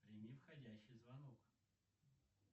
прими входящий звонок